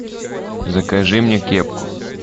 закажи мне кепку